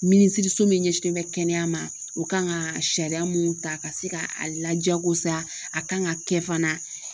Minisiriso min ɲɛsinnen bɛ kɛnɛya ma o kan ŋa sariya mun ta ka se ka a lajakosa a kan ŋa kɛ fana.